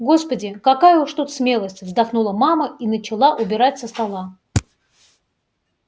господи какая уж тут смелость вздохнула мама и начала убирать со стола